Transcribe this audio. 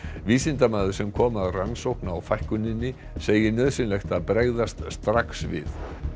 vísindamaður sem kom að rannsókn á fækkuninni segir nauðsynlegt að bregðast strax við